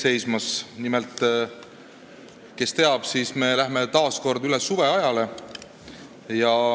Nimelt, kui keegi ei tea, siis ütlen, et me läheme taas kord üle suveajale.